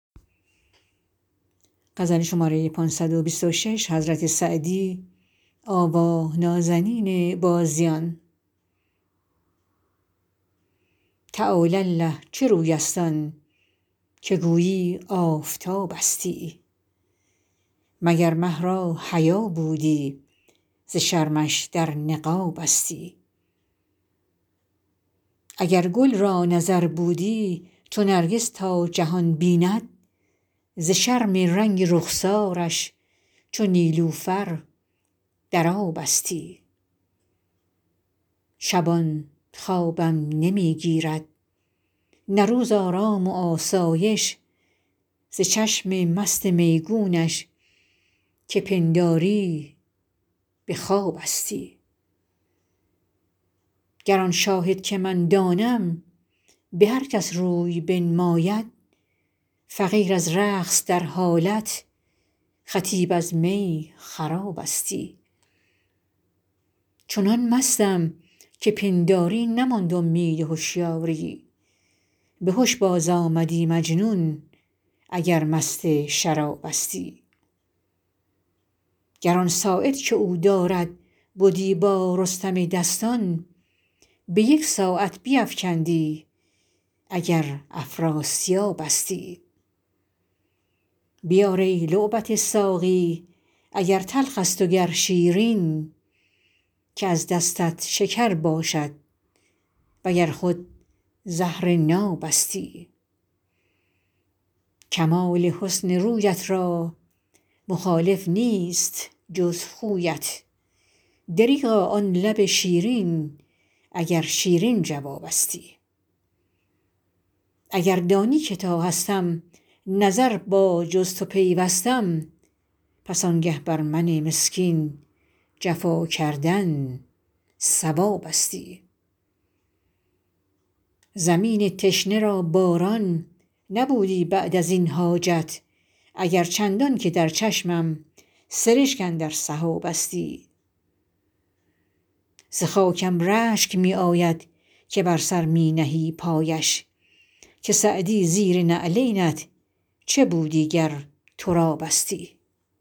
تعالی الله چه روی است آن که گویی آفتابستی و گر مه را حیا بودی ز شرمش در نقابستی اگر گل را نظر بودی چو نرگس تا جهان بیند ز شرم رنگ رخسارش چو نیلوفر در آبستی شبان خوابم نمی گیرد نه روز آرام و آسایش ز چشم مست میگونش که پنداری به خوابستی گر آن شاهد که من دانم به هر کس روی بنماید فقیر از رقص در حالت خطیب از می خرابستی چنان مستم که پنداری نماند امید هشیاری به هش بازآمدی مجنون اگر مست شرابستی گر آن ساعد که او دارد بدی با رستم دستان به یک ساعت بیفکندی اگر افراسیابستی بیار ای لعبت ساقی اگر تلخ است و گر شیرین که از دستت شکر باشد و گر خود زهر نابستی کمال حسن رویت را مخالف نیست جز خویت دریغا آن لب شیرین اگر شیرین جوابستی اگر دانی که تا هستم نظر با جز تو پیوستم پس آنگه بر من مسکین جفا کردن صوابستی زمین تشنه را باران نبودی بعد از این حاجت اگر چندان که در چشمم سرشک اندر سحابستی ز خاکم رشک می آید که بر سر می نهی پایش که سعدی زیر نعلینت چه بودی گر ترابستی